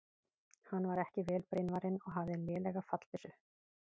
Hann var ekki vel brynvarinn og hafði lélega fallbyssu.